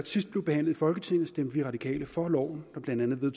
sidst blev behandlet i folketinget stemte vi radikale for loven der blandt andet